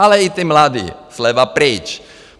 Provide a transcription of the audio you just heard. Ale i ti mladí, sleva pryč.